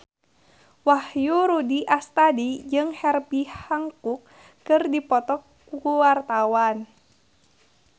Wahyu Rudi Astadi jeung Herbie Hancock keur dipoto ku wartawan